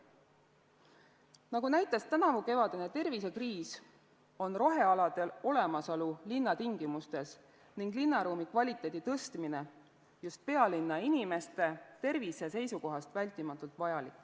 Nagu näitas tänavukevadine tervisekriis, on rohealade olemasolu linnatingimustes ning linnaruumi kvaliteedi parandamine just pealinna inimeste tervise seisukohast vältimatult vajalik.